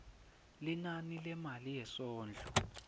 linani lemali yesondlo